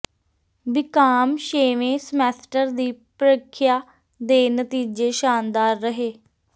BCom ਛੇਵੇਂ semester ਦੀ ਪ੍ਰਰੀਖਿਆ ਦੇ ਨਤੀਜੇ ਸ਼ਾਨਦਾਰ ਰਹੇ